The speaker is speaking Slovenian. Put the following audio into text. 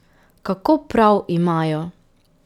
Kako prav imajo.